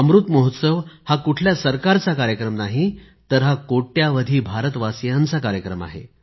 अमृत महोत्सव हा कुठल्या सरकारचा कार्यक्रम नाही तर हा कोट्यवधी भारतवासियांचा कार्यक्रम आहे